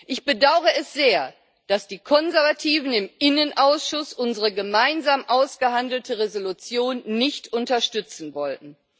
Ich bedaure es sehr, dass die Konservativen im Innenausschuss unsere gemeinsam ausgehandelte Entschließung nicht unterstützen wollten.